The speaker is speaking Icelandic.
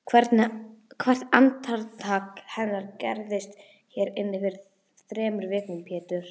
Hvert andartak hennar gerðist hér inni fyrir þremur vikum Pétur.